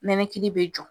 Nɛnɛkili bɛ jɔ